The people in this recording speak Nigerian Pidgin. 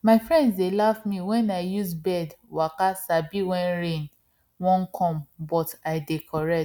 my friends dey laugh me wen i use birds waka sabi wen rain wan come but i dey correct